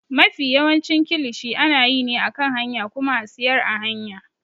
Mafi yawancin kilishi ana yi ne a kan hanya kuma a siyar a hanya.